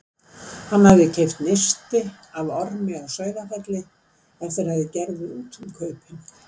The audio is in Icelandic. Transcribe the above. Hann hafði keypt nisti af Ormi á Sauðafelli eftir að þeir gerðu út um kaupin.